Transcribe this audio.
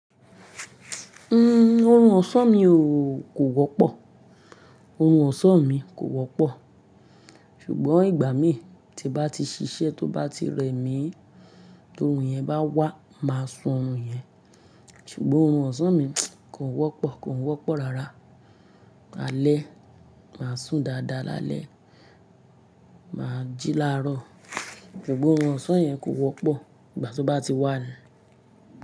Ẹ̀h, oorùn ọ̀ṣan mi o kò wọ́pọ̀, oorùn ọ̀ṣan mi kò wọ́pọ̀. Ṣùgbọ́n ìgbà mi tí n bá ti ṣiṣẹ́ tó bá ti rẹ mi, tí oorùn yẹn bá wá, màá sun oorùn yẹn. Ṣùgbọ́n ọrùn ọ̀ṣọ́ mi kò wọ́pọ̀, kò wọ́pọ̀ rárá. Alẹ́, màá sùn dáadáa lálẹ́, mà á jí láàárọ̀. Ṣùgbọ́n oorùn ọ̀ṣan yẹn kò wọ́pọ̀ ìgbà tí ó bá ti wà ni.